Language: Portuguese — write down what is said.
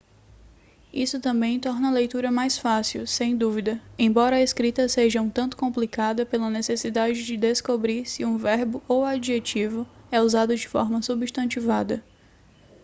isso também torna a leitura mais fácil sem dúvida embora a escrita seja um tanto complicada pela necessidade de descobrir se um verbo ou adjetivo é usado de forma substantivada